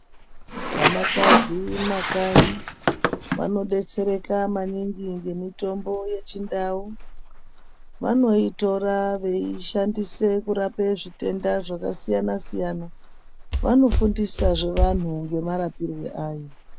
Vanakadzi mumakanyi anodetsereka maningi ngemutombo yechindau vanoitora veishandisa kurape zvitenda zvakasiyana -siyana vanofundisazve vanhu ngemarapirwe ayo .